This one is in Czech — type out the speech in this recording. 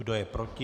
Kdo je proti?